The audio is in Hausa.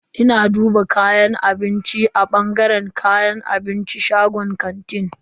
Ina duba kayan abinci a bangaren kayan abincin shagon kantin.